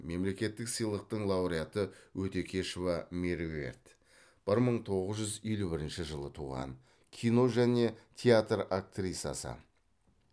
мемлекеттік сыйлықтың лауреаты өтекешова меруерт бір мың тоғыз жүз елу бірінші жылы туған кино және театр актрисасы